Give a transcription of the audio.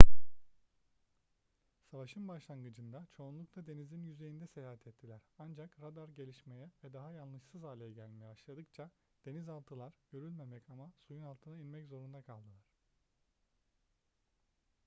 savaşın başlangıcında çoğunlukla denizin yüzeyinde seyahat ettiler ancak radar gelişmeye ve daha yanlışsız hale gelmeye başladıkça denizaltılar görülmemek ama suyun altına inmek zorunda kaldılar